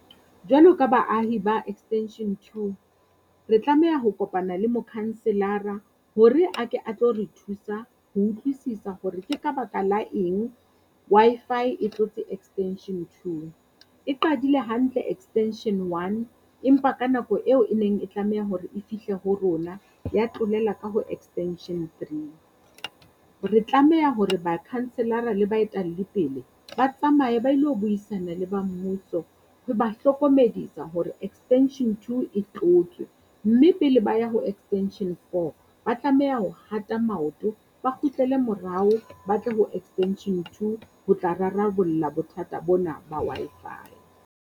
Jwalo ka baahi ba extension two, re tlameha ho kopana le mokhanselara hore a ke a tlo re thusa ho utlwisisa hore ke ka baka la eng Wi-Fi e tlotse extension two. E qadile hantle extension one. Empa ka nako eo e neng e tlameha hore e fihle ho rona ya tlolela ka ho extension three. Re tlameha hore, bakhanselara le pele, ba tsamaye ba ilo buisana le ba mmuso ho ba hlokomedisa hore extension two e tlotswe. Mme pele ba ya ho extension four ba tlameha ho hata maoto, ba kgutlele morao ba tle ho extension two ho tla rarabolla bothata bona ba Wi-Fi.